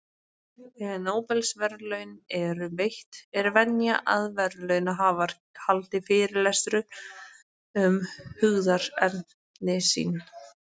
Þegar Nóbelsverðlaun eru veitt, er venja að verðlaunahafar haldi fyrirlestur um hugðarefni sín.